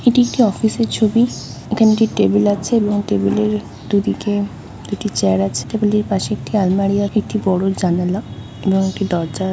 এটা একটি অফিসের ছবি। এখানে একটি টেবিল আছে এবং টেবিলের দু দিকে দুটি চেয়ার আছে। টেবিল এর পশে একটি আলমারি আর একটি বড়ো জানালা এবং একটি দরজা।